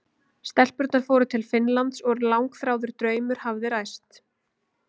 Stelpurnar fóru til Finnlands og langþráður draumur hafði ræst.